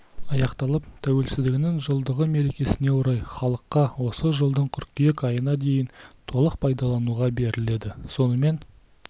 аяқталып тәуелсіздігінің жылдығы мерекесіне орай халыққа осы жылдың қыркүйек айына дейін толық пайдалануға беріледі сонымен